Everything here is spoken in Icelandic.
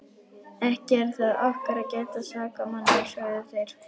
Ekki er það okkar að gæta sakamanna, sögðu þeir.